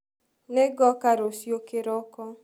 Nĩngoka rũcĩũ kĩroko.